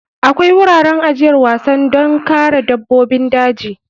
Akwai wuraren ajiyar wasan don kare dabbobin daji.